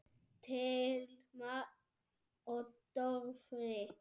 Thelma og Dofri.